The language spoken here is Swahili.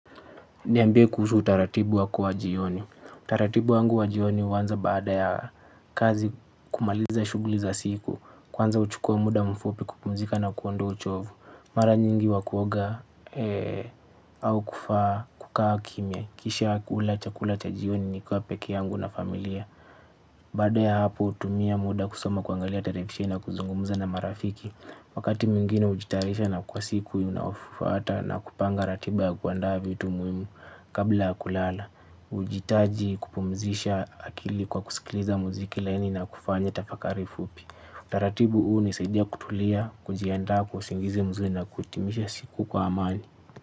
Niambie kuhusu utaratibu wako wa jioni. Utaratibu wangu wa jioni huanza baada ya kazi, kumaliza shughuli za siku. Kwanza huchukua muda mfupi kupumzika na kuondoa uchovu. Mara nyingi huwa kuoga au kukaa kimya. Kisha kula chakula cha jioni nikiwa peke yangu na familia. Baada ya hapo hutumia muda kusoma, kuangalia televisheni na kuzungumza na marafiki. Wakati mwingine hujitayarisha kwa siku inayofuata na kupanga ratiba ya kuandaa vitu muhimu. Kabla kulala, hujitaji kupumzisha akili kwa kusikiliza muziki laini na kufanya tafakari fupi. Taratibu hunisaidia kutulia, kujiandaa kwa usingizi mzuri na kuhitimisha siku kwa amani.